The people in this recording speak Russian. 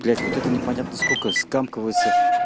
блять вот это непонятно сколько скамкиваеться